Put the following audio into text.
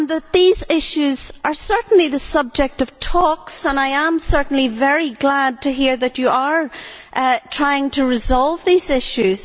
These issues are certainly the subject of talks and I am certainly very glad to hear that you are trying to resolve these issues.